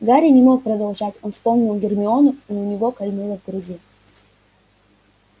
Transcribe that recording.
гарри не мог продолжать он вспомнил гермиону и у него кольнуло в груди